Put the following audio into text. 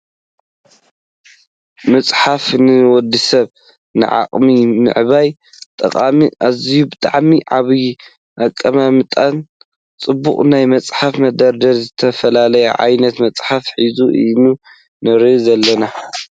መፅሓፍ ንወድሰብ ንዓቅሚ ምዕባይ ጠቃሚ እዝዩ ብጣዕሚ ዓብይ እቅማምትኡ ፅቡቅ ናይ መፅሓፍ መደርደሪ ዝተፈላለዩ ዓይነት ምፅሓፍ ሒዙ ኢና ንሪኦ ዘለና ።